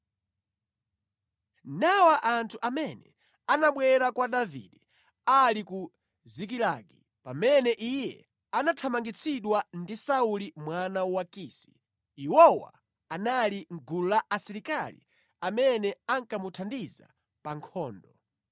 Nawa anthu amene anabwera kwa Davide ali ku Zikilagi pamene iye anathamangitsidwa ndi Sauli mwana wa Kisi (iwowo anali mʼgulu la asilikali amene ankamuthandiza pa nkhondo.